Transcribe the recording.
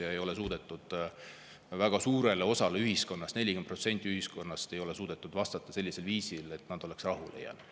Ja ei ole suudetud väga suurele osale ühiskonnast – 40%-le ühiskonnast – vastata sellisel viisil, et nad oleksid rahule jäänud.